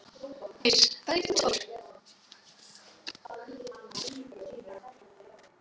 Eir, hvað er jörðin stór?